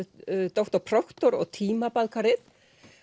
doktor Proktor